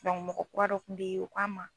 mɔgɔ kura dɔ kun bɛ ye o ko a ma